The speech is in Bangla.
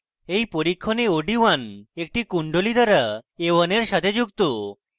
in পরীক্ষণে od1 একটি কুণ্ডলী দ্বারা a1 in সাথে যুক্ত